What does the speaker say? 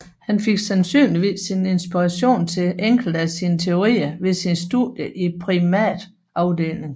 Han fik sandsynligvis sin inspiration til enkelte af sine teorier ved sine studier i primatafdelingen